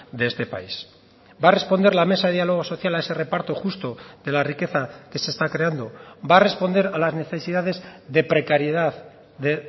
de este país va a responder la mesa de diálogo social a ese reparto justo de la riqueza que se está creando va a responder a las necesidades de precariedad de